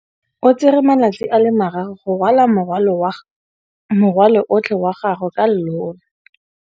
O tsere malatsi a le marraro go rwala morwalo otlhe wa gagwe ka llori.